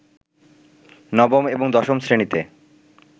নবম এবং দশম শ্রেণীতে